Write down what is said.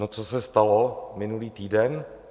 No, co se stalo minulý týden?